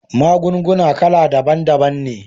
Magunguna kala daban daban ne